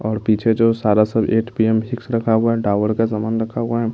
और पीछे जो सारा सब एट पी_एम सिक्स रखा हुआ है डाबर का सामान रखा हुआ है।